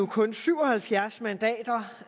kun syv og halvfjerds mandater